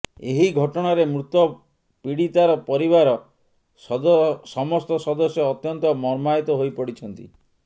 ଏହି ଘଟଣାରେ ମୃତ ପୀଡିତାର ପରିବାର ସମସ୍ତ ସଦସ୍ୟ ଅତ୍ୟନ୍ତ ମର୍ମାହତ ହୋଇପଡିଛନ୍ତି